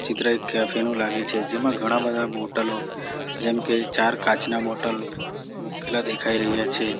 આ ચિત્ર એક કેફે નું લાગે છે જેમાં ઘણા-બધા બોટલો જેમકે ચાર કાચના બોટલ મુકેલા દેખાઈ રહ્યા છે.